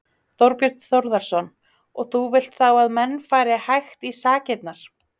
Þorbjörn Þórðarson: Og þú vilt þá að menn fari hægt í sakirnar?